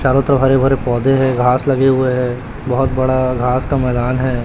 चारों तरफ हरे भरे पौधे है घास लगे हुए है बहोत बड़ा घास का मैदान है।